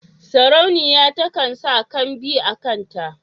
Sarauniya takan sa kambi a kanta.